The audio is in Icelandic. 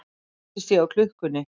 Þreytist ég á klukkunni.